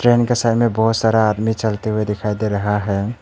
Train के side में बहोत सारा आदमी चलते हुए दिखाई दे रहा है।